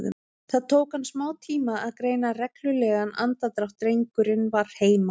Það tók hann smátíma að greina reglulegan andardrátt, drengurinn var heima.